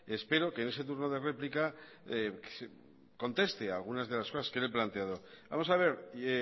espero que en ese turno de réplica conteste a algunas de las cosas que le he planteado vamos a ver